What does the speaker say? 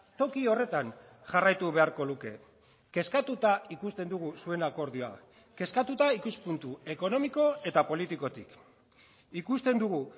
toki horretan jarraitu beharko luke kezkatuta ikusten dugu zuen akordioa kezkatuta ikuspuntu ekonomiko eta politikotik ikusten dugu